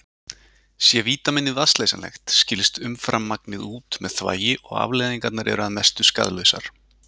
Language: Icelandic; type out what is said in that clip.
Sé vítamínið vatnsleysanlegt skilst umframmagnið út með þvagi og afleiðingarnar eru að mestu skaðlausar.